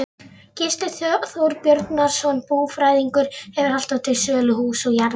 Gísli Þorbjarnarson búfræðingur hefur alltaf til sölu hús og jarðir.